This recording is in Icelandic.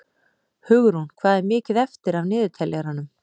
Hugrún, hvað er mikið eftir af niðurteljaranum?